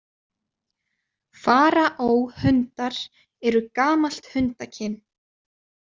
Faraó-hundar eru gamalt hundakyn.